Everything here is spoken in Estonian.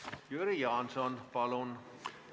Jüri Jaanson, palun!